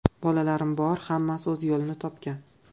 Bolalarim bor, hammasi o‘z yo‘lini topgan.